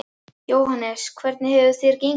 Jóhannes: Hvernig hefur þér gengið?